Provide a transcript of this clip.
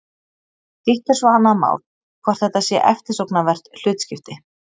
Hitt er svo annað mál hvort þetta sé eftirsóknarvert hlutskipti.